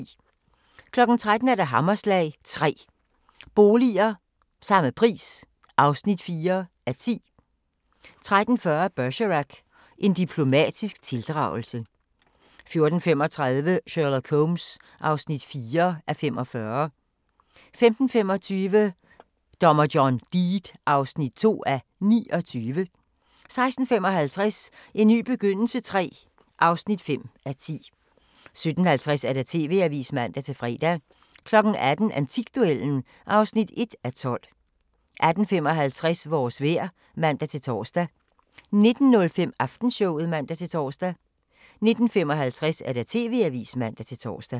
13:00: Hammerslag – 3 boliger – samme pris (4:10) 13:40: Bergerac: En diplomatisk tildragelse 14:35: Sherlock Holmes (4:45) 15:25: Dommer John Deed (2:29) 16:55: En ny begyndelse III (5:10) 17:50: TV-avisen (man-fre) 18:00: Antikduellen (1:12) 18:55: Vores vejr (man-tor) 19:05: Aftenshowet (man-tor) 19:55: TV-avisen (man-tor)